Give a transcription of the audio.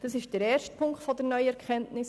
Das ist der erste Punkt der neuen Erkenntnis.